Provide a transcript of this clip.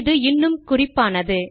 அது இன்னும் குறிப்பானது